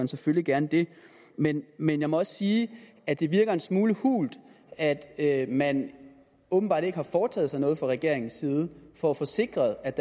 selvfølgelig gerne det men men jeg må også sige at det virker en smule hult at at man åbenbart ikke har foretaget sig noget fra regeringens side for at få sikret at